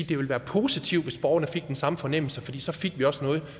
det vil være positivt hvis borgerne fik den samme fornemmelse for så fik vi også noget